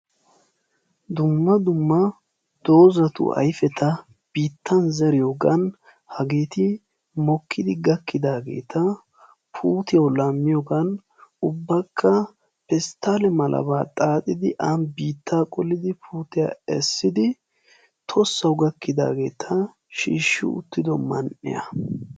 Dumma dumma dozatu ayfeta biittan zeriyogeti mokkidi gakkidagetti puutiyawu laammiyogan ubbaka pestale mala xaaxiyogan aani biittan qolidi tossawu gakkidageta shiishi uttido man'iyaa.